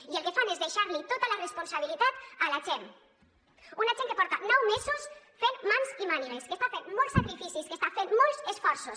i el que fan és deixar li tota la responsabilitat a la gent una gent que porta nou mesos fent mans i mànigues que està fent molts sacrificis que està fent molts esforços